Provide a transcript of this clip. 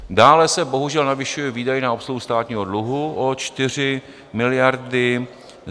Dále se bohužel navyšují výdaje na obsluhu státního dluhu o 4 miliardy.